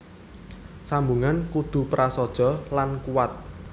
Sambungan kudu prasaja lan kuwat